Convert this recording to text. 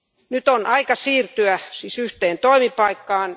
Nyt on aika siirtyä siis yhteen toimipaikkaan.